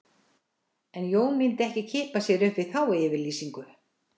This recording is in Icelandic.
En Jón myndi ekki kippa sér upp við þá yfirlýsingu